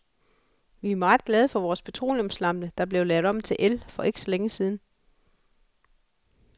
Vi er meget glade for vores petroleumslampe, der blev lavet om til el for ikke så længe siden.